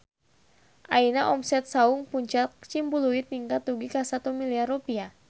Ayeuna omset Saung Puncak Ciumbuleuit ningkat dugi ka 1 miliar rupiah